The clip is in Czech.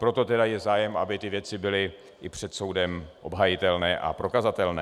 Proto tedy je zájem, aby ty věci byly i před soudem obhajitelné a prokazatelné.